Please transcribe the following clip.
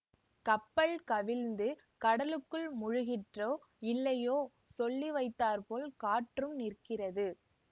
கப்பல் கவிழ்ந்து கடலுக்குள் முழுகிற்றோ இல்லையோ சொல்லி வைத்தாற்போல் காற்றும் நிற்கிறது